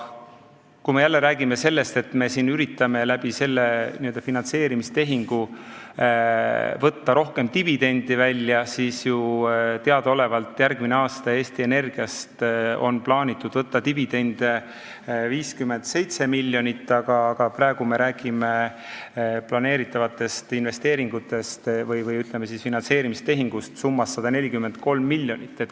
Kui me räägime sellest, et me siin üritame selle n-ö finantseerimistehingu abil võtta rohkem dividendi välja, siis teadaolevalt on järgmine aasta plaanitud Eesti Energiast võtta dividendi 57 miljonit, aga praegu me räägime planeeritavatest investeeringutest või finantseerimistehingust summas 143 miljonit.